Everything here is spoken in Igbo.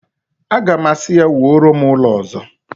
Aga m asị ya, wuoro m ụlọ ọzọ!